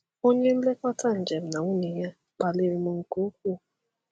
Onye nlekọta njem na nwunye ya kpaliri m nke ukwuu.